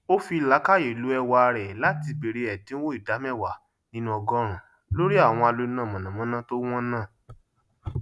ó fí làákàyè ló ẹwà rẹ latí bèrè ẹdínwó ìdá mẹwàá nínú ọgọrùnún lórí àwọn aloná mànàmáná tó wọn náà